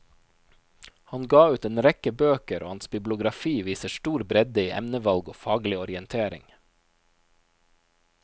Han ga ut en rekke bøker, og hans bibliografi viser stor bredde i emnevalg og faglig orientering.